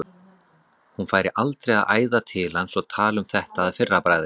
Hún færi aldrei að æða til hans og tala um þetta að fyrra bragði.